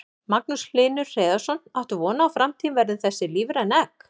Magnús Hlynur Hreiðarsson: Áttu von á að framtíðin verði þessi, lífræn egg?